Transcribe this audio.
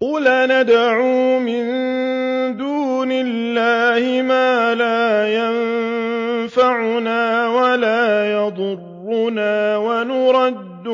قُلْ أَنَدْعُو مِن دُونِ اللَّهِ مَا لَا يَنفَعُنَا وَلَا يَضُرُّنَا وَنُرَدُّ